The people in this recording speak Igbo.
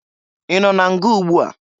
Ị nọ na nga ugbua?